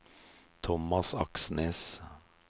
Thomas Aksnes